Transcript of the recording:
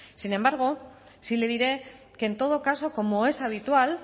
sin embargo sí le diré que en todo caso como es habitual